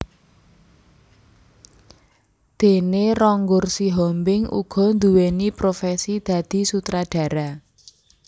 Dené Ronggur Sihombing uga nduweni profesi dadi sutradara